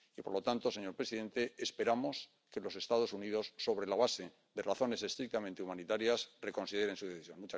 Y, por lo tanto, señor presidente, esperamos que los Estados Unidos, sobre la base de razones estrictamente humanitarias, reconsideren su decisión.